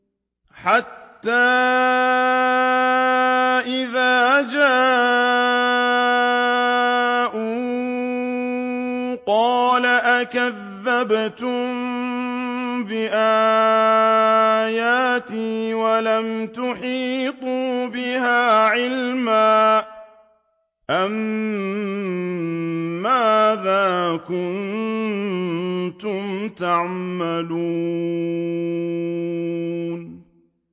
حَتَّىٰ إِذَا جَاءُوا قَالَ أَكَذَّبْتُم بِآيَاتِي وَلَمْ تُحِيطُوا بِهَا عِلْمًا أَمَّاذَا كُنتُمْ تَعْمَلُونَ